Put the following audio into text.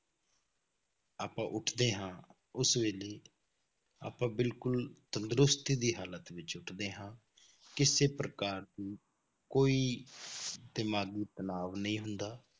ਆਪਾਂ ਉੱਠਦੇ ਹਾਂ ਉਸ ਵੇਲੇ ਆਪਾਂ ਬਿਲਕੁਲ ਤੰਦਰੁਸਤੀ ਦੀ ਹਾਲਤ ਵਿੱਚ ਉੱਠਦੇ ਹਾਂ, ਕਿਸੇ ਪ੍ਰਕਾਰ ਦੀ ਕੋਈ ਦਿਮਾਗੀ ਤਨਾਵ ਨਹੀਂ ਹੁੰਦਾ,